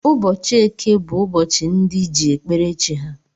Ụbọchị eke bú ụbọchị ndị ji ekpere chi ha.